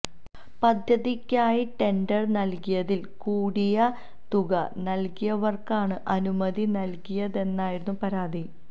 പദ്ധതിക്കായി ടെന്ഡര് നല്കിയതില് കൂടിയ തുക നല്കിയവര്ക്കാണ് അനുമതി നല്കിയതെന്നായിരുന്നു പരാതി